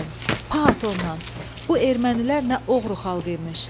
Pat onnan, bu ermənilər nə oğru xalq imiş.